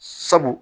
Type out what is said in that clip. Sabu